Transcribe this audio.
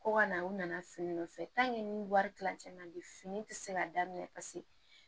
Ko ka na u nana fini nɔfɛ wari tilancɛ na bi fini tɛ se ka daminɛ paseke